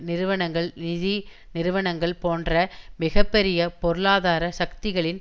நிறுவனங்கள் நிதி நிறுவனங்கள் போன்ற மிக பெரிய பொருளாதார சக்திகளின்